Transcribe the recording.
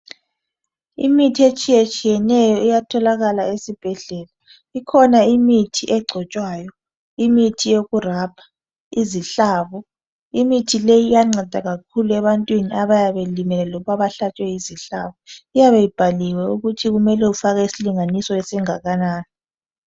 Imithi etshiyetshiyeneyo iyatholakala esibhedlela. Ikhona imithi egcotshwayo, imithi yokurabha izihlabo. Imithi leyi iyanceda kakhulu ebantwini abayabe belimele loba abahlatshwe yizihlabo. Iyabe ibhaliwe ukuthi kumele ufake isilinganiso esingakanani.